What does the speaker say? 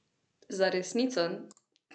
Za resnico!